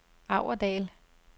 Aurdal